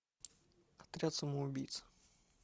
отряд самоубийц